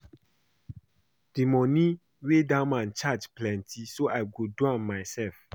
The money wey dat man charge plenty so I go do am myself